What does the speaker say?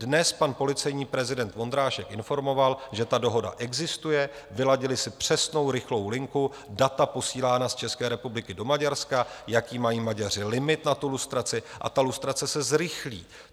Dnes pan policejní prezident Vondrášek informoval, že ta dohoda existuje, vyladili si přesnou rychlou linku, data posílána z České republiky do Maďarska, jaký mají Maďaři limit na tu lustraci, a ta lustrace se zrychlí.